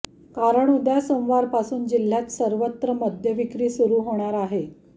कारण उद्या सोमवारपासून जिल्ह्यात सर्वत्र मद्यविक्री सुरू होणार आहे